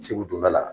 Segu donda la